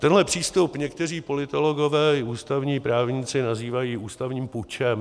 Tenhle přístup někteří politologové i ústavní právníci nazývají ústavním pučem.